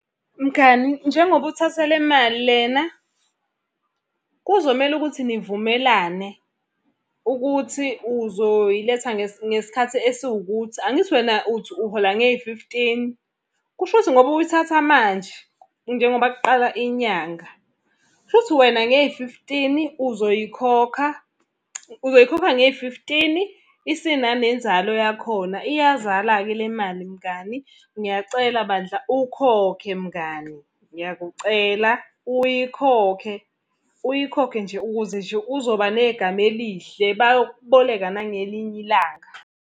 Mngani, njengoba uthatha le mali lena, kuzomele ukuthi nivumelane ukuthi uzoyiletha ngesikhathi esiwukuthi angithi wena uthi uhola ngeyi-fifteen. Kushuthi ngoba uyithatha manje, njengoba kuqala inyanga, kushukuthi wena ngeyi-fifteen uzoyikhokha, uzoyikhokha ngeyi-fifteen isinanenzalo yakhona. Iyazala-ke le mali mngani, ngiyacela bandla ukhokhe mngani. Ngiyakucela uyikhokhe, uyikhokhe nje ukuze nje uzoba negama elihle. Bayokuboleka nangelinye ilanga.